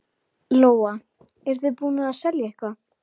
Lóa: Eruð þið búnir að selja eitthvað?